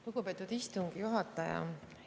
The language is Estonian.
Lugupeetud istungi juhataja!